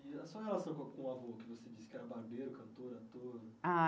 E a sua relação com o avô, que você disse que era barbeiro, cantor, ator? Ah